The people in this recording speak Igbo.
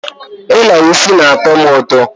I la isi na-ato mu uto.